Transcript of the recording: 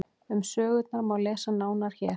Um sögurnar má lesa nánar hér.